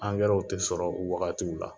Angɛrɛw tɛ sɔrɔ u wagatiw la.